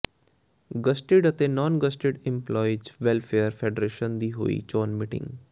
gazetted ਅਤੇ non gazetted employees welfare federation ਦੀ ਹੋਈ ਚੋਣ ਮੀਟਿੰਗ